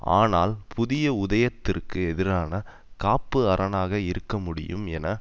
ஆனால் புதிய உதயத்திற்கு எதிரான காப்பு அரணாக இருக்க முடியும் என